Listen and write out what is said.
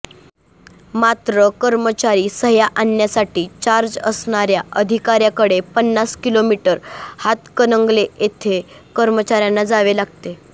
मात्र कर्मचारी सह्या आण्यासाठी चार्ज असणाऱ्या अधिकाऱ्याकडे पन्नास किलोमीटर हातकणंगले येथे कर्मचाऱ्याला जावे लागते